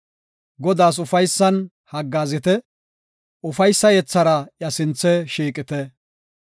Godaas ufaysan haggaazite; ufaysa yethara iya sinthe shiiqite.